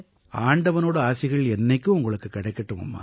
ஆண்டவனோட ஆசிகள் என்னைக்கும் உங்களுக்குக் கிடைக்கட்டும்மா